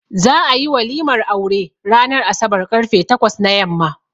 Za ayi walimar aure ranan asabar karfe takwas na yamma